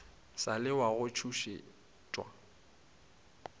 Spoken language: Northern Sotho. sa le wa go tšhošetšwa